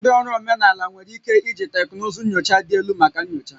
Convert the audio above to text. Ndị ọrụ omenala nwere ike iji teknụzụ nyocha dị elu maka nyocha